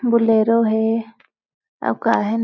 Bolero है और का है ।